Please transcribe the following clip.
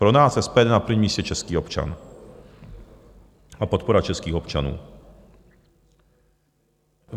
Pro nás, SPD, je na prvním místě český občan a podpora českých občanů.